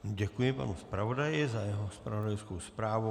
Děkuji panu zpravodaji za jeho zpravodajskou zprávu.